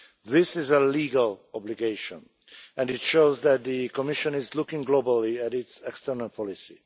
This is a legal obligation, and it shows that the Commission is looking globally at its external policy.